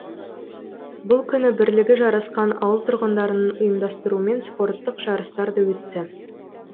бұл күні бірлігі жарасқан ауыл тұрғындарының ұйымдастыруымен спорттық жарыстар да өтті